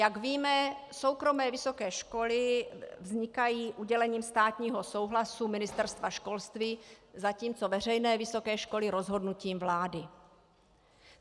Jak víme, soukromé vysoké školy vznikají udělením státního souhlasu Ministerstva školství, zatímco veřejné vysoké školy rozhodnutím vlády.